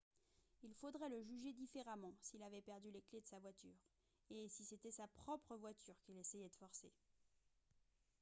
il faudrait le juger différemment s'il avait perdu les clés de sa voiture et si c'était sa propre voiture qu'il essayait de forcer